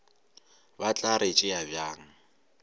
ba tla re tšea bjang